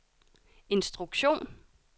instruktion